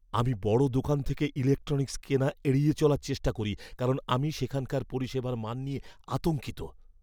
আমি বড় দোকান থেকে ইলেকট্রনিক্স কেনা এড়িয়ে চলার চেষ্টা করি কারণ আমি সেখানকার পরিষেবার মান নিয়ে আতঙ্কিত।